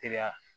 Teliya